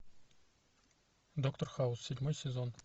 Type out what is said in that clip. доктор хаус седьмой сезон